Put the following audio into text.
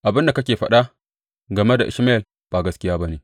Abin da kake faɗa game da Ishmayel ba gaskiya ba ne.